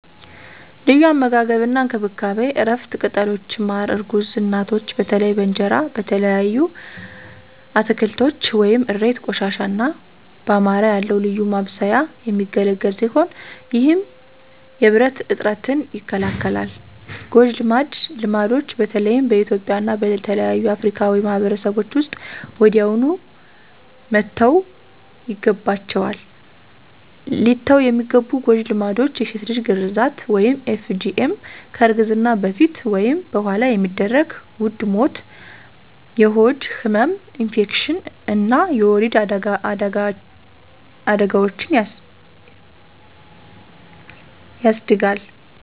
ለዩ አመጋገብ አና እንከብካቤ(እረፍት፣ ቅጠሎች፣ ማረ እርጉዝ እናቶች በተለይ በእንጀራ፣ በተለያዩ አትከልቶች (እሬት፣ ቆሽታ )አና በማረ ያለዉ ልዩ ማብሰያ የሚገለግል ሲሆነ ይህም የብረት እጥረትን ይከላከላል። ጎጀ ልማድች በተለይም በእትዩጵያ እና በሌሎች አፍርካዊ ማህበርሰቦች ዉስጥ ወዲያውኑ መተውይገባችዋል። ሊተዉ የሚገቡ ጎጂ ልማዶች የሴት ልጅ ግራዛት (FGM) ከእርግዝና በፈት ወይም በኋላ የሚደረግ ዉድ ሞት፣ የሆድ ህመም፣ ኢንፌክሽን አና የወሊድ አዳጋዎችን የስድጋል